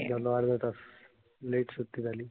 आलो अर्धा तास late सुट्टी झाली.